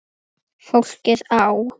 Þessu hafði Eggert gaman af.